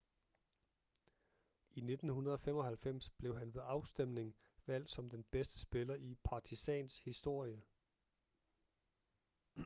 i 1995 blev han ved afstemning valgt som den bedste spiller i partizans historie